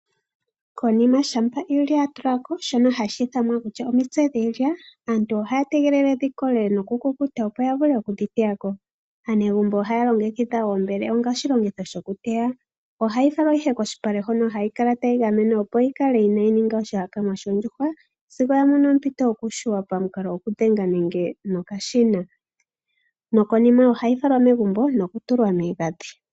Konima shampa iilya ya tula ko shoka hashi ithanwa kutya omitse dhiilya, aantu haya tegelele dhi kole nokukukuta, opo ya vule okudhi teya ko. Aanegumbo ohaya longekidha oombele onga oshilongitho shokuteya. Aantu ohaya fala ihe kolupale hoka hayi kala tayi keelelwa, opo kaayi ninge oshihakanwa shoondjuhwa sigo ya mono ompito yokuyungulwa pamukalo gokudhenga nenge nokashina. Konima ohayi falwa megumbo nokutulwa miigandhi.